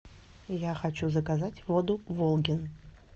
я хочу заказать воду волгин